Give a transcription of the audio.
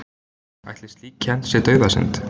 Ætli slík kennd sé dauðasynd?